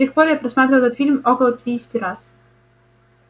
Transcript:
с тех пор я просматривал этот фильм около пятидесяти раз